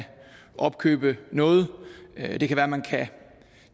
opkøbe noget det kan være man kan